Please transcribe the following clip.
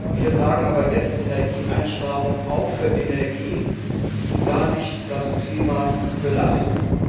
Wir sagen aber jetzt Energieeinsparung auch für Energien, die gar nicht das Klima belasten.